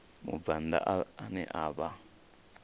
mubvann ḓa ane a vha